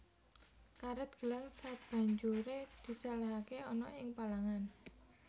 Karèt gelang sabanjuré disèlèhake ana ing palangan